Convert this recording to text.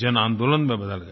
जनआन्दोलन में बदल गया